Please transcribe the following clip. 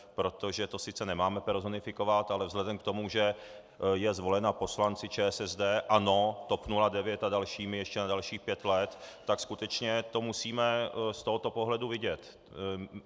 Protože to sice nemáme personifikovat, ale vzhledem k tomu, že je zvolena poslanci ČSSD, ANO, TOP 09 a dalšími ještě na dalších pět let, tak skutečně to musíme z tohoto pohledu vidět.